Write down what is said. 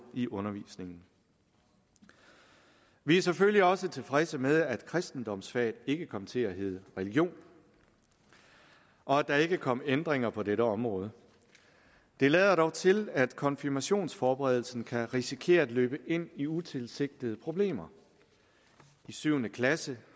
i undervisningen vi er selvfølgelig også tilfredse med at kristendomsfaget ikke kom til at hedde religion og at der ikke kom ændringer på dette område det lader dog til at konfirmationsforberedelsen kan risikere at løbe ind i utilsigtede problemer i syvende klasse